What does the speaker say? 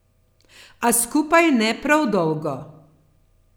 A skupaj ne prav dolgo.